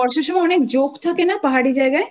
কিন্তু বর্ষার সময় আরও জোঁক থাকে না পাহাড়ি জায়গায়?